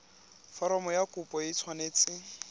foromo ya kopo e tshwanetse